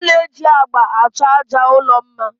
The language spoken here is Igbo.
A na-eji agba achọ àjà ụlọ mma